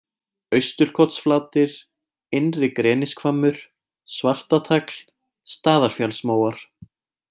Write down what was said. Austurkotsflatir, Innri-Grenishvammur, Svartatagl, Staðarfjallsmóar